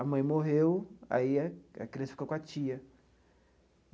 A mãe morreu, aí a a criança ficou com a tia.